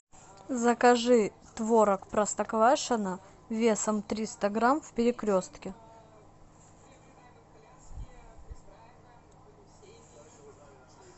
закажи творог простоквашино весом триста грамм в перекрестке